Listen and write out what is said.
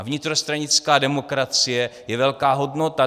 A vnitrostranická demokracie je velká hodnota.